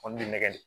nɛgɛ de